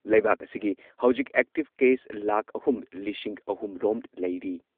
ꯂꯩꯕꯥꯛ ꯑꯁꯤꯒꯤ ꯍꯧꯖꯤꯛ ꯑꯦꯛꯇꯤꯚ ꯀꯦꯁ ꯂꯥꯈ ꯑꯍꯨꯝ ꯂꯤꯁꯤꯡ ꯑꯍꯨꯝꯔꯣꯝ ꯂꯩꯔꯤ꯫